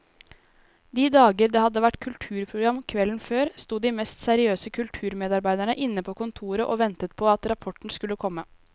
De dager det hadde vært kulturprogram kvelden før, sto de mest seriøse kulturmedarbeidere inne på kontoret og ventet på at rapporten skulle komme.